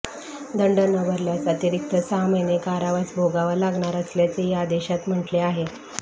दंड न भरल्यास अतिरिक्त सहा महिने कारावास भोगावा लागणार असल्याचेही आदेशात म्हटले आहे